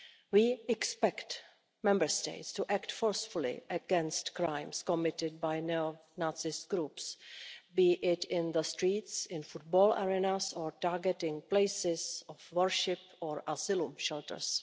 We expect Member States to act forcefully against crimes committed by neo-Nazi groups whether in the streets, in football arenas or in the targeting of places of worship or asylum shelters.